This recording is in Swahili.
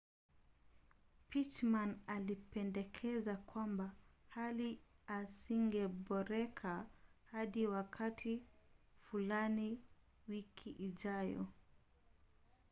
pittman alipendekeza kwamba hali hazingeboreka hadi wakati fulani wiki ijayo